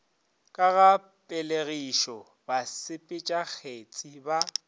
ka ga pelegišo basepetšakgetsi ba